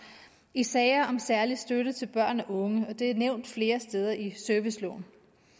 i sager om særlig støtte til børn og unge og det er nævnt flere steder i serviceloven